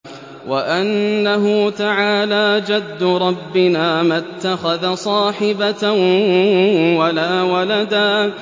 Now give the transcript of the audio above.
وَأَنَّهُ تَعَالَىٰ جَدُّ رَبِّنَا مَا اتَّخَذَ صَاحِبَةً وَلَا وَلَدًا